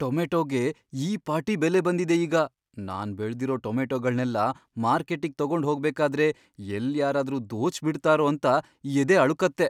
ಟೊಮೇಟೋಗೆ ಈ ಪಾಟಿ ಬೆಲೆ ಬಂದಿದೆ ಈಗ, ನಾನ್ ಬೆಳ್ದಿರೋ ಟೊಮೆಟೋಗಳ್ನೆಲ್ಲ ಮಾರ್ಕೆಟ್ಟಿಗ್ ತಗೊಂಡ್ ಹೋಗ್ಬೇಕಾದ್ರೆ ಎಲ್ಲ್ ಯಾರಾದ್ರೂ ದೋಚ್ಬಿಡ್ತಾರೋ ಅಂತ ಎದೆ ಅಳುಕತ್ತೆ.